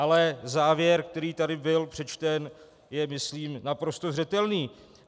Ale závěr, který tady byl přečten, je, myslím, naprosto zřetelný.